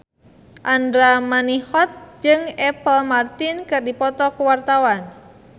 Andra Manihot jeung Apple Martin keur dipoto ku wartawan